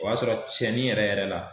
O y'a sɔrɔ cɛnni yɛrɛ yɛrɛ la